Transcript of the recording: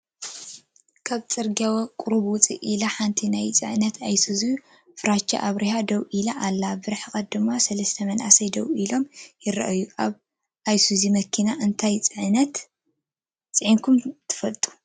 ካብ ፅርግያ ቁሩብ ውፅእ ኢላ ሓንቲ ናይ ፅዕነት ኣየሱዙ ፍራቻ ኣብሪሃ ደው ኢላ ኣላ፡፡ ብርሕቐት ድማ 3 መናእሰይ ደው ኢሎም ይራኣዩ፡፡ ኣብ ኣይሱዙ መኪና አንታይ ፂዒንኩም ትፈልጡ?